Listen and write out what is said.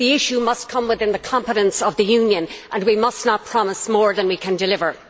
The issue must come within the competence of the Union and we must not promise more than we can deliver.